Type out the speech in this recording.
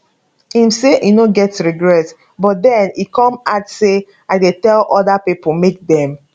e say im no get regrets but den e come add say i dey tell oda pipo make dem